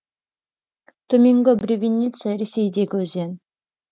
төменгі бревенница ресейдегі өзен